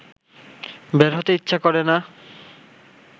বের হতে ইচ্ছা করে না